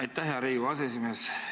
Aitäh, hea Riigikogu aseesimees!